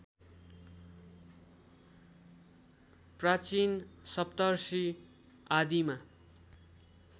प्राचीन सप्तर्षि आदिमा